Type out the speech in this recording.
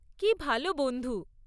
কী ভাল বন্ধু!